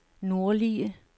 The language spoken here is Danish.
nordlige